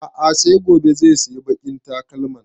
A'a sai gobe zai sayi baƙin takalmin